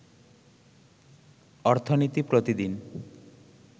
অর্থনীতি প্রতিদিন